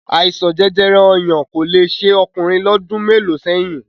Àìsàn jẹjẹrẹ ọyàn kò le ṣe ọkùnrin lọ́dún mélòó sẹ́yìn